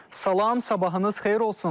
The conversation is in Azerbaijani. Salam, sabahınız xeyir olsun.